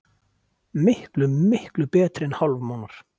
Miklu, miklu betri en hálfmánar.